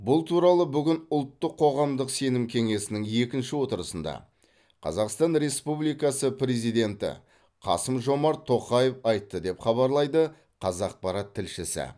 бұл туралы бүгін ұлттық қоғамдық сенім кеңесінің екінші отырысында қазақстан республикасы президенті қасым жомарт тоқаев айтты деп хабарлайды қазақпарат тілшісі